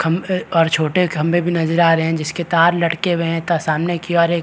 खम्भे और छोटे खम्भे भी नज़र आ रहें हैं जिसके तार लटके हुएं हैं इतना सामने की और एक --